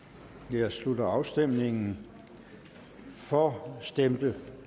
nu jeg slutter afstemningen for stemte